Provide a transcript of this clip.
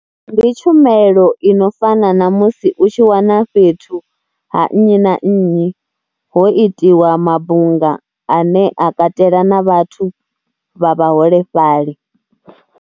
Ndi tshumelo ino fana na musi u tshi wana fhethu ha nnyi na nnyi ho itiwa mabunga ane a katela na vhathu vha vhaholefhali.